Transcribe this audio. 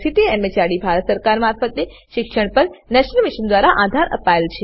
જેને ICT MHRD Bharat સરકાર મારફતે શિક્ષણ પર નેશનલ મિશન દ્વારા આધાર અપાયેલ છે